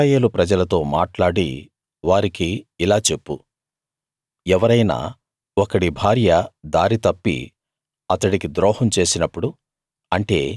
ఇశ్రాయేలు ప్రజలతో మాట్లాడి వారికి ఇలా చెప్పు ఎవరైనా ఒకడి భార్య దారి తప్పి అతడికి ద్రోహం చేసినప్పుడు